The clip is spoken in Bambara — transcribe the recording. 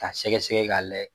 Ka sɛgɛsɛgɛ k'a layɛ